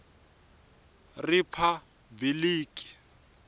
riphabiliki